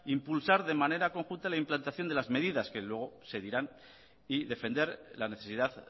impulsar de manera conjunta la implantación de las medidas que luego se dirán y defender la necesidad